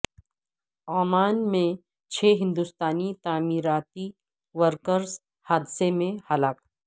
Oman میں چھ ہندوستانی تعمیراتی ورکرس حادثہ میں ہلاک